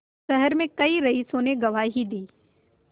शहर में कई रईसों ने गवाही दी